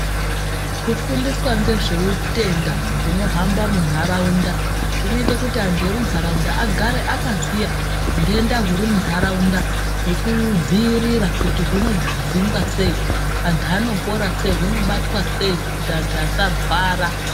Kufundiswa ngezveutenda hunohamba muntaraunda, zvinoite kuti antu emuntaraunda agare akaziya ntenda huri munharaunda ,nekuidziirira kuti hunodzingwa sei, antu anopora sei, hunobatwa sei, kuti antu asarwara.